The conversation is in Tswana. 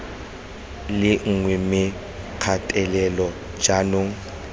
le nngwe mme kgatelelo jaanong